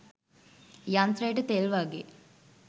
යන්ත්‍රයට තෙල් වාගේ